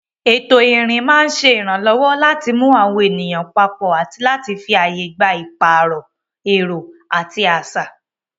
Ètò ìrìn máa ń ṣe ìrànlọ́wọ́ láti mú àwọn ènìyàn papọ̀ àti láti fi ààyè gba ìpààrọ̀ èrò àti àṣà.